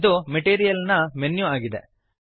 ಇದು ಮೆಟೀರಿಯಲ್ ನ ಮೆನ್ಯು ಆಗಿದೆ